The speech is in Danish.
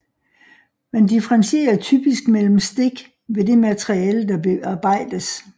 Man differentierer typisk mellem stik ved det materiale der bearbejdes